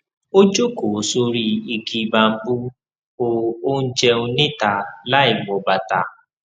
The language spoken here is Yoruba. ó jókòó sórí igi bambú ó ó ń jẹun níta láìwọ bàtà